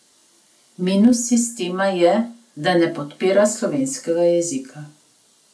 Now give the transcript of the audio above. Minus sistema je, da ne podpira slovenskega jezika.